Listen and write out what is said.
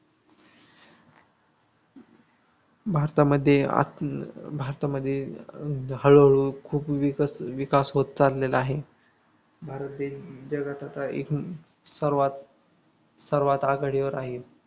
भारतामध्ये अं भारतामध्ये अं हळूहळू खूप विकस विकास होत चाललेला आहे भारत देश जगात आता एक सर्वात आघाडीवर आहे.